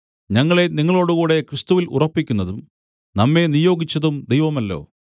ഞങ്ങളെ നിങ്ങളോടുകൂടെ ക്രിസ്തുവിൽ ഉറപ്പിക്കുന്നതും നമ്മെ നിയോഗിച്ചതും ദൈവമല്ലോ